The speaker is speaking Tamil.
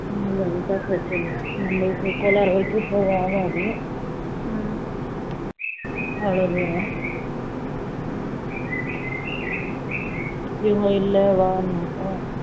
foreign language